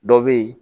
Dɔ be yen